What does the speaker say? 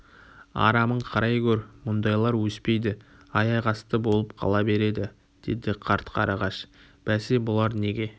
арамын қарай гөр мұндайлар өспейді аяқ асты болып қала береді деді қарт қарағаш бәсе бұлар неге